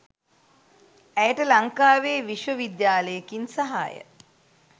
ඇයට ලංකාවේ විශ්ව විද්‍යාලයකින් සහාය